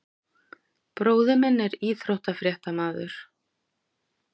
Bróðir minn er íþróttafréttamaður.